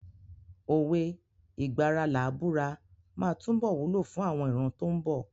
Òwe "ìgbà ara làá búra" máa túbọ̀ wúlò fún àwọn ìran tó ń bọ̀.